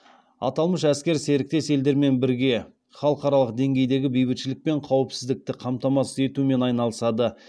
аталмыш әскер серіктес елдермен бірге халықаралық деңгейдегі бейбітшілік пен қауіпсіздікті қамтамасыз етумен айналысады